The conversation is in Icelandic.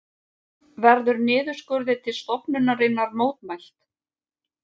Verður niðurskurði til stofnunarinnar mótmælt